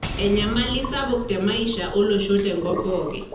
enyamali sapuk te maisha olosho tenkop pooki.